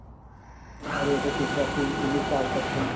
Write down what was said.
আৰু এটা বুলি park আছে